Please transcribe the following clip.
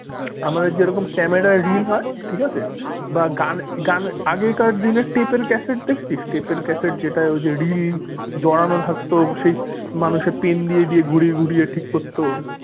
আমাদের যেরকম ক্যামেরার রিল হয় ঠিক আছে বা গান গান আগেকার দিনের ট্যাপের ক্যাসেট দেখছিস ট্যাপের ক্যাসেট যেটা ওই যে রিল জড়ানো থাকতো সেই মানুষের pen দিয়ে দিয়ে ঘুরিয়ে ঘুরিয়ে ঠিক করতো।